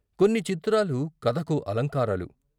కొన్ని చిత్రాలు కథకు అలంకారాలు.